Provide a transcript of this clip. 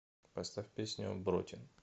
поставь песню бротин